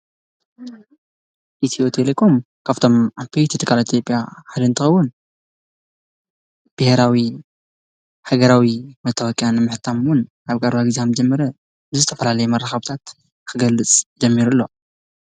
ኢትዮ ቴሌኮም ካብቶሞ ዓብይቲ ትካላት ኢትዮጵያ ሓደ እንትኸዉን ብሄራዊ ሃገራዊ መታወቅያ ንምሕታም እዉን ኣብ ቀረባ ግዜ ሃከም ዝጀመረ ብዝተፋላለየ መራኸብታት ክገልፅ ጀምሩ ኣሎ፡፡